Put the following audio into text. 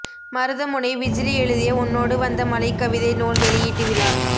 மருதமுனை விஜிலி எழுதிய உன்னோடு வந்த மழை கவிதை நூல் வெளியீட்டு விழா